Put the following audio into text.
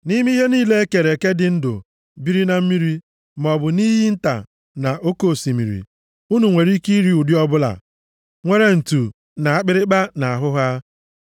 “ ‘Nʼime ihe niile e kere eke dị ndụ biri na mmiri, maọbụ nʼiyi nta na nʼoke osimiri, unu nwere ike iri ụdị ọbụla nwere ntu na akpịrịkpa nʼahụ ha.